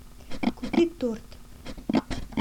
купи торт